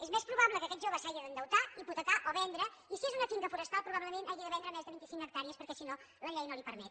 és més probable que aquest jove s’hagi d’endeutar hipotecar o vendre i si és una finca forestal probablement hagi de vendre més de vint i cinc hectàrees perquè si no la llei no li ho permet